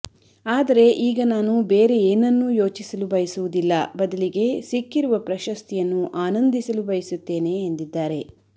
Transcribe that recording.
ಆದರೆ ಈಗ ನಾನು ಬೇರೆ ಏನನ್ನೂ ಯೋಚಿಸಲು ಬಯಸುವುದಿಲ್ಲ ಬದಲಿಗೆ ಸಿಕ್ಕಿರುವ ಪ್ರಶಸ್ತಿಯನ್ನು ಆನಂದಿಸಲು ಬಯಸುತ್ತೇನೆ ಎಂದಿದ್ದಾರೆ